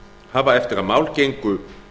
hafa eftir að mál gengu